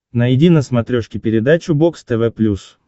найди на смотрешке передачу бокс тв плюс